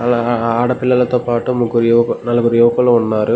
అలా ఆడపిల్లల తో పాటు ముగ్గురు నలుగురు యువకులు ఉన్నారు.